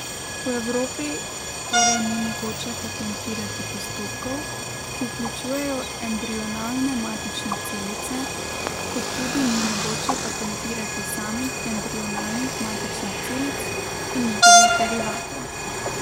V Evropi torej ni mogoče patentirati postopkov, ki vključujejo embrionalne matične celice, kot tudi ni mogoče patentirati samih embrionalnih matičnih celic in njihovih derivatov.